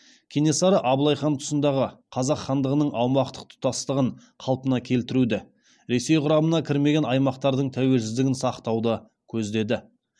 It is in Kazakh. кенесары абылай хан тұсындағы қазақ хандығының аумақтық тұтастығын қалпына келтіруді ресей құрамына кірмеген аймақтардың тәуелсіздігін сақтауды көздеді